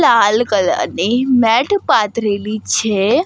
લાલ colour ની mat પાથરેલી છે.